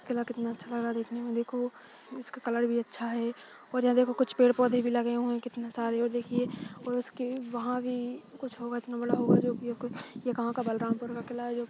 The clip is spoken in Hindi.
किला कितना अच्छा लग रहा देखने में देखो इसकी इसका कलर भी अच्छा हैं और यहाँ देखो कुछ पेड़ पौधे भी लगे हुए है कितने सारे और देखिये और उसकी वहाँ भी कुछ होगा इतना बड़ा होगा जो की आपको ये कहा का बलरामपुर का किला--